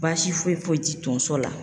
Baasi foyi foyi ti tonso la